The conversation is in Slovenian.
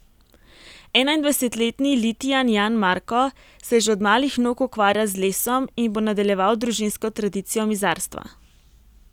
Enaindvajsetletni Litijan Jan Marko se že od malih nog ukvarja z lesom in bo nadaljeval družinsko tradicijo mizarstva.